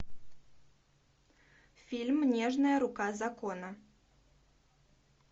фильм нежная рука закона